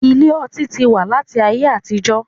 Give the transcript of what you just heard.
Ilé ọtí tí wá láti ayé àtijó